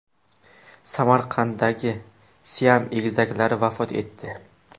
Samarqanddagi siam egizaklari vafot etdi.